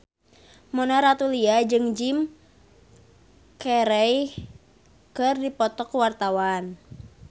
Mona Ratuliu jeung Jim Carey keur dipoto ku wartawan